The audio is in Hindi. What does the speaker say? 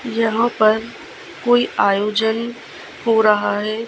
यहां पर कोई आयोजन हो रहा है।